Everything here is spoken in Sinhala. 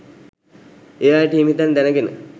ඒ අයට හිමි තැන් දැනගෙන